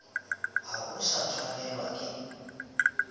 ha o sa tshwanelwa ke